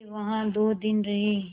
वे वहाँ दो दिन रहे